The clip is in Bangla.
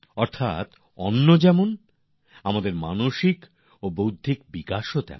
অর্থাৎ যেমন অন্নের ব্যবস্থা হয় তেমনই আমাদের মানসিক আর বৌদ্ধিক বিকাশও হয়